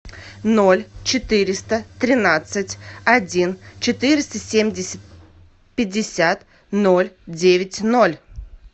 ноль четыреста тринадцать один четыреста семьдесят пятьдесят ноль девять ноль